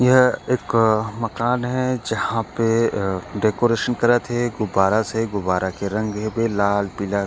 यह एक मकान हे जहाँ पे डेकोरेशन करत हे गुब्बरा से गुब्बारे के रंग हेबे लाल पीला--